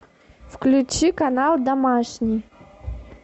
включи канал домашний